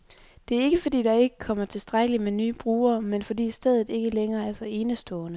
Det er ikke, fordi der ikke kommer tilstrækkeligt med nye brugere, men fordi stedet ikke længere er så enestående.